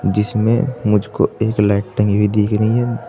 जिसमे मुझको एक लाइटिंग भी दिख रही है।